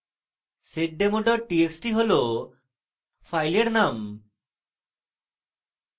seddemo txt হল file name